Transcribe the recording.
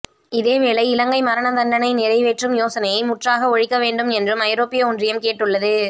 இதேவேளை இலங்கை மரண தண்டனை நிறைவேற்று யோசனையை முற்றாக ஒழிக்கவேண்டும் என்றும் ஐரோப்பிய ஒன்றியம் கேட்டுள்ளது